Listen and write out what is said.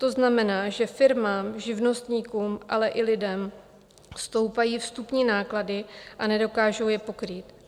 To znamená, že firmám, živnostníkům, ale i lidem stoupají vstupní náklady a nedokážou je pokrýt.